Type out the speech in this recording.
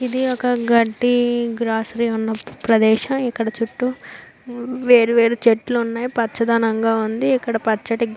ఇది ఒక గడ్డి గ్రస్స్ ఉన్న ప్రదేశం ఇక్కడ చుట్టూ వేరు వేరు చెట్లు ఉన్నాయి పచ్చధనం అంగ ఉంది ఇక్కడ పరుచటి --